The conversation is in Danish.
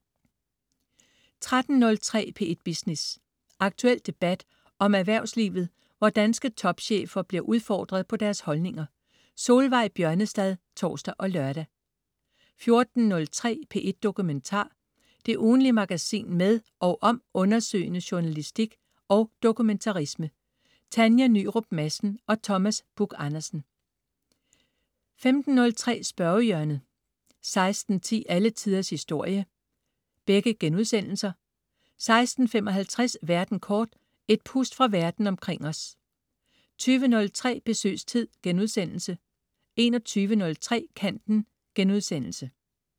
13.03 P1 Business. Aktuel debat om erhvervslivet, hvor danske topchefer bliver udfordret på deres holdninger. Solveig Bjørnestad (tors og lør) 14.03 P1 Dokumentar. Det ugentlige magasin med og om undersøgende journalistik og dokumentarisme. Tanja Nyrup Madsen og Thomas Buch Andersen 15.03 Spørgehjørnet* 16.10 Alle Tiders Historie* 16.55 Verden kort. Et pust fra verden omkring os 20.03 Besøgstid* 21.03 Kanten*